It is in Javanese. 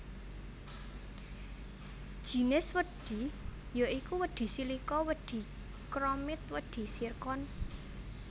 Jinis wedhi ya iku wedhi silika wedhi chromit wedhi zircon